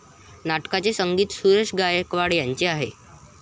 नाटकाचे संगीत सुरेश गायकवाड यांचे आहे.